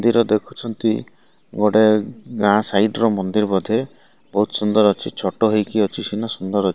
ମନ୍ଦିର ଦେଖୁଛନ୍ତି ଗୋଟିଏ ଗାଁ ସାଇଟ ର ମନ୍ଦିର ବୋଧେ ବହୁତ ସୁନ୍ଦର ଅଛି ଛୋଟ ହୋଇକି ଅଛି ସିନା ସୁନ୍ଦର ଅଛି।